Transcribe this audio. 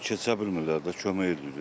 Keçə bilmirlər də, kömək edirlər.